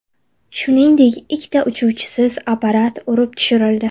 Shuningdek, ikkita uchuvchisiz apparat urib tushirildi.